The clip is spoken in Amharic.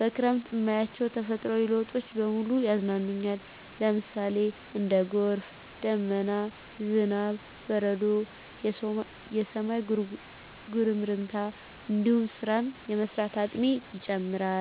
በክረምት እማያቸው ተፈጥሮአዊ ለውጦች በሙሉ ያዝናኑኛል ለምሳሌ:- እንደ ጎርፍ፣ ደመና፣ ዝናብ፣ በረዶ፣ የሰማይ ጉርምርምታ እንዲሁም ስራን የመስራት አቅሜ ይጨምራር